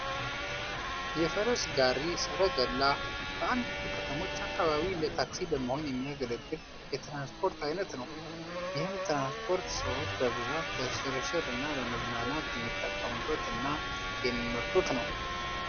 የፈረስ ጋሪ (ሰረገላ) በአንዳንድ ከተሞች አካባቢ እንደ ታክሲ በመሆን የሚያገለግል የትራንስፖርት አይነት ነው። ይህም ትራንስፖርት ሰዎች በብዛት ለሽርሽር እና ለመዝናናት የሚጠቀሙት እና የሚመርጡት ነው።